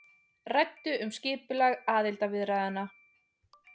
Ræddu um skipulag aðildarviðræðna